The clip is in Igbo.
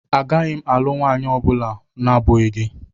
Agaghị m alụ nwaanyị ọ bụla na-abụghị gị.